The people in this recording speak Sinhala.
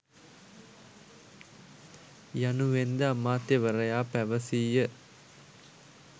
යනුවෙන්ද අමාත්‍යවරයා පැවසීය.